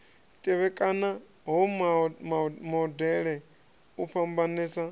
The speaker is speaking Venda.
tevhekana ha modele u fhambanesa